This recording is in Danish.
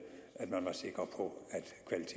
at man var sikker på